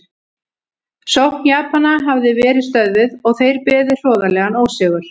Sókn Japana hafði verið stöðvuð og þeir beðið hroðalegan ósigur.